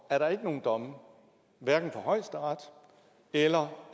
er der ikke nogen domme hverken fra højesteret eller